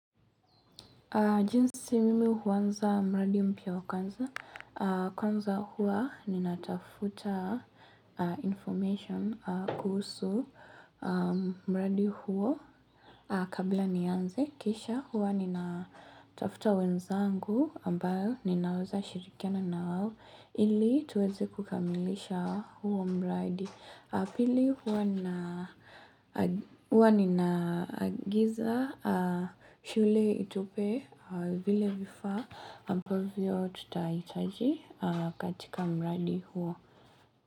Jinsi mimi huanza mradi mpya wa kwanza, kwanza huwa ninatafuta information kuhusu mradi huo. Kabla nianze kisha huwa ninatafuta wenzangu ambayo ninaweza shirikiana na wao ili tuweze kukamilisha huo mradi. Pili huwa ninaagiza shule itupe vile vifa ambavyo tutahitaji katika mradi huo.